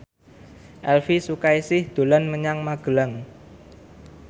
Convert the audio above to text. Elvy Sukaesih dolan menyang Magelang